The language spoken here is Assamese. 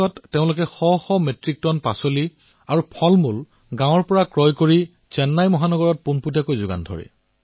ইয়াৰে কৃষক গোটে লকডাউনৰ সময়ছোৱাত নিকটৱৰ্তী গাঁলৰ পৰা শতাধিক মেট্ৰিকটন শাকপাচলি ফল আৰু কল ক্ৰয় কৰিছিল আৰু চেন্নাই চহৰত শাকপাচলিৰ কম্বো কিট দিছিল